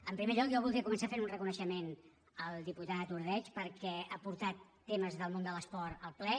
en primer lloc jo voldria començar fent un reconeixement al diputat ordeig perquè ha portat temes de l’esport al ple